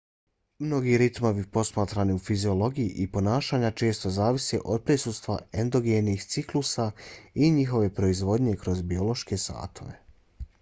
mnogi ritmovi posmatrani u fiziologiji i ponašanju često zavise od prisustva endogenih ciklusa i njihove proizvodnje kroz biološke satove